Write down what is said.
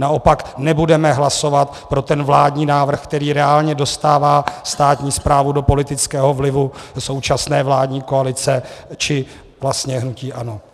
Naopak nebudeme hlasovat pro ten vládní návrh, který reálně dostává státní správu do politického vlivu současné vládní koalice či vlastně hnutí ANO.